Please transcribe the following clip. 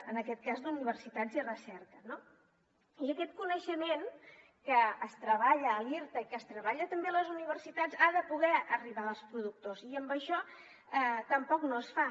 en aquest cas d’universitats i recerca no i aquest coneixement que es treballa a l’irta i que es treballa també a les universitats ha de poder arribar als productors i això tampoc no es fa